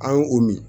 An y'o o min